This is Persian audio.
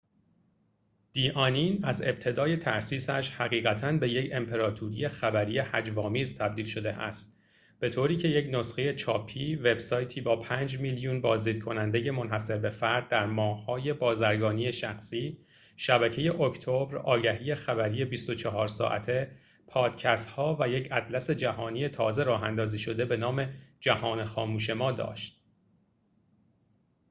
«دی آنین» از ابتدای تأسیسش حقیقتاً به یک امپراتوری خبری هجوآمیز تبدیل شده است، به‌طوری که یک نسخه چاپی، وب‌سایتی با 5,000,000 بازدیدکننده منحصربه‌فرد در ماه اکتبر، آگهی‎‌های بازرگانی شخصی، شبکه خبری 24 ساعته، پادکست‌ها، و یک اطلس جهانی تازه راه‌اندازی شده به نام «جهان خاموش ما» داشت